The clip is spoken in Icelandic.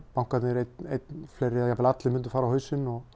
bankarnir einn eða jafnvel allir myndu fara á hausinn og